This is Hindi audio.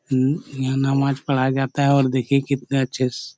अहू यहाँ नमाज पढ़ाया जाता है और देखिए कितने अच्छे से-- .